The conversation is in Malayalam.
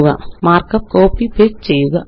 മാര്ക്കപ്പ് കോപ്പി പേസ്റ്റ് ചെയ്യുക